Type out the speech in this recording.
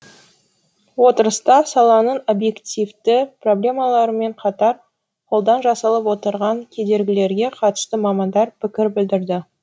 отырыста саланың объективті проблемаларымен қатар қолдан жасалып отырған кедергілерге қатысты мамандар пікір білдірді